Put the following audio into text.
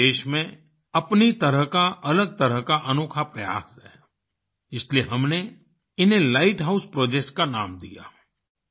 ये देश में अपनी तरह का अलग तरह का अनोखा प्रयास है इसलिए हमने इन्हें लाइट हाउस प्रोजेक्ट्स का नाम दिया